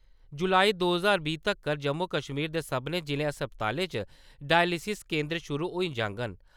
जुलाई दो ज्हार बीह् तगर जम्मू कश्मीर दे सब्भनें जिला अस्पतालें च डायलिसिस केंदर शुरू होई जाङन।